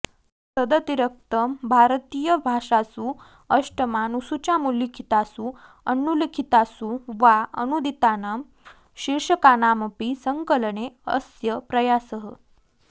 तदतिरिक्तं भारतीयभाषासु अष्टमानुसूच्यामुल्लिखितासु अनुल्लिखितासु वा अनूदितानां शीर्षकानामपि संकलने अस्य प्रयासः